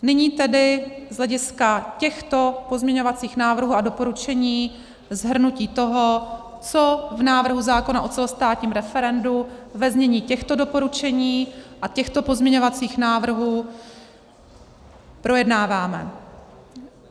Nyní tedy z hlediska těchto pozměňovacích návrhů a doporučení shrnutí toho, co v návrhu zákona o celostátním referendu ve znění těchto doporučení a těchto pozměňovacích návrhů projednáváme.